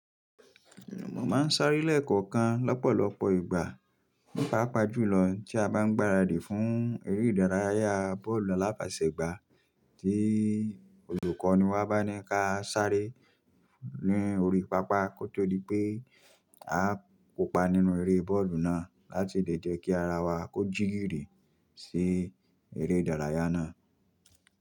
Mo máa ń sáré lẹ́ẹ̀kọ̀kan lọ́pọ̀lọpọ̀ ìgbà, pàápàá jùlọ tí a bá ń gbaradì fún eré ìdárayá bọ́ọ̀lù aláfeṣègbá, tí olùkọ́ni wa bá ní kí a sáré ní orí pápá nítorí pé a kopa nínú eré bọ́ọ̀lù náà láti lè jẹ́ kí ara wa kó jígìrì sí eré ìdárayá náà.